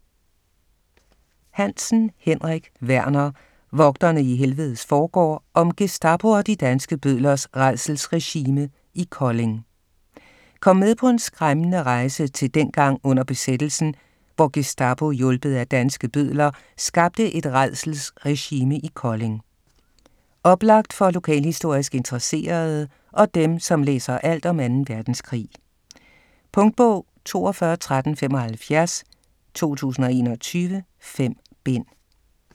Hansen, Henrik Werner: Vogterne i helvedes forgård: om Gestapo og de danske bødlers rædselsregime i Kolding Kom med på en skræmmende rejse til dengang under besættelsen, hvor Gestapo - hjulpet af danske bødler - skabte et "rædselsregime" i Kolding. Oplagt for lokalhistorisk interesserede og dem, som læser alt om 2. verdenskrig. Punktbog 421375 2021. 5 bind.